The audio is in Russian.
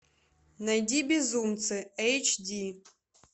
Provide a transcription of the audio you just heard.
найди безумцы эйч ди